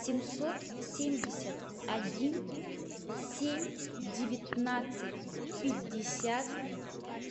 семьсот семьдесят один семь девятнадцать пятьдесят